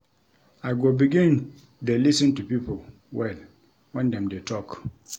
I go begin dey lis ten to pipo well wen dem dey talk.